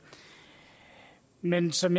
men som